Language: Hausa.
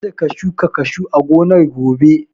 Ka da ka shuka kashu a gonar gobe!